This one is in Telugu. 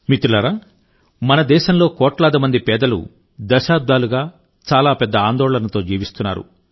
మిత్రులారా మన దేశంలో కోట్లాది మంది పేదలు దశాబ్దాలుగా చాలా పెద్ద ఆందోళనతో జీవిస్తున్నారు